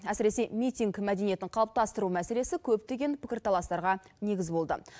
әсіресе митинг мәдениетін қалыптастыру мәселесі көптеген пікірталастарға негіз болды